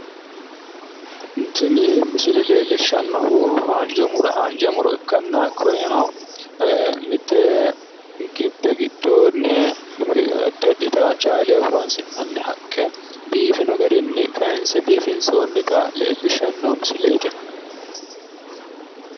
tini misile leellishshannohu haanja muro ikkanna kunino mitte gibbe giddoonni addi addita caaleho horonsi'nanni haqqe biifino garinni kaanse biifinsoonnita leellishshanno misileeti tini.